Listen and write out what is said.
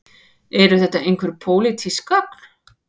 Eru þetta einhver pólitísk gögn